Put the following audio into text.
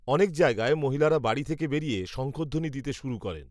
অনেক জায়গায় মহিলারা বাড়ি থেকে বেরিয়ে, শঙ্খধ্বনি দিতে শুরু করেন